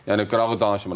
Yəni qırağa danışmıram.